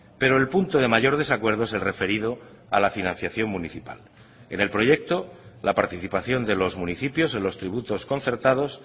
pero el punto de mayor desacuerdo es el referido a la financiación municipal en el proyecto la participación de los municipios en los tributos concertados